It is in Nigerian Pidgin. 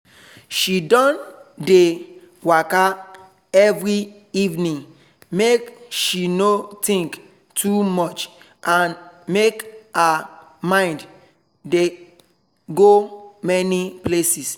she don dey waka every evening make she no think too much and make her mind dey go many places